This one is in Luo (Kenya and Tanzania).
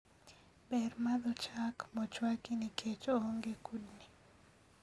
ber madho chak mochwaki niketch oonge kudni